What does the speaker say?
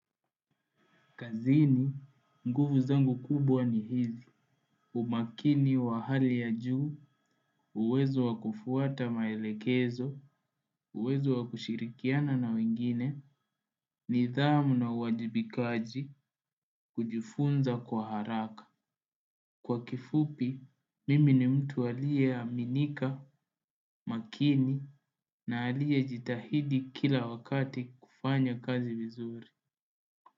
Kazini, nguvu zangu kubwa ni hizi. Umakini wa hali ya juu, uwezo wa kufuata maelekezo, uwezo wa kushirikiana na wengine, nidhamu na uwajibikaji kujifunza kwa haraka. Kwa kifupi, mimi ni mtu aliyeaminika, makini, na aliye jitahidi kila wakati kufanya kazi vizuri.